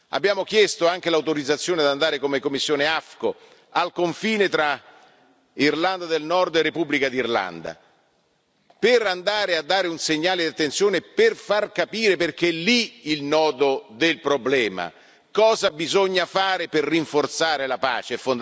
Abbiamo chiesto anche l'autorizzazione ad andare come commissione AFCO al confine tra Irlanda del Nord e Repubblica d'Irlanda, per andare a dare un segnale di attenzione, per far capire perché lì è il nodo del problema cosa bisogna fare per rinforzare la pace.